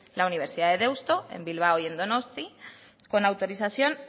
la universidad de deusto en bilbao y en donostia con autorización